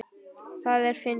Það er fyndið.